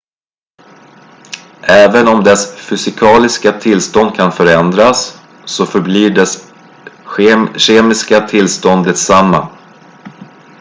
även om dess fysikaliska tillstånd kan förändras så förblir dess kemiska tillstånd detsamma